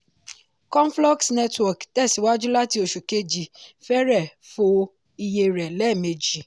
conflux network tẹ̀síwájú láti oṣù kejì fẹrẹ̀ fọ iye rẹ̀ lẹ́mejì.